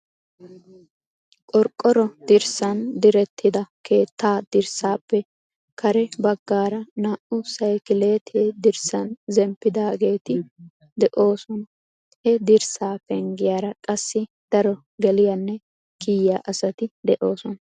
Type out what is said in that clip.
Qorqoro dirssan direttida keettaa dirssaappe kare baggaara naa"u saykileti dirssan zemppidaageeti de'oosona. He dirssaa penggiyaara qassi daro geliyaanne kiyiya asati de'oosona.